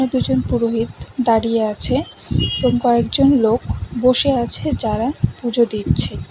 দুজন পুরোহিত দাঁড়িয়ে আছে এবং কয়েকজন লোক বসে আছে যারা পুজো দিচ্ছে।